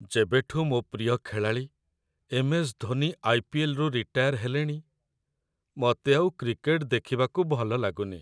ଯେବେଠୁ ମୋ' ପ୍ରିୟ ଖେଳାଳି ଏମ୍.ଏସ୍. ଧୋନି ଆଇ.ପି.ଏଲ୍. ରୁ ରିଟାୟାର ହେଲେଣି, ମତେ ଆଉ କ୍ରିକେଟ୍ ଦେଖିବାକୁ ଭଲଲାଗୁନି ।